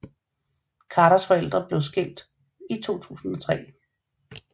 Carters forældre blev skilt i 2003